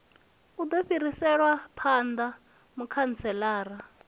u do fhiriselwa phanda mukhantselara